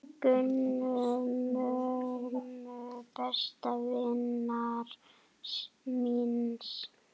Gunnu, mömmu besta vinar míns.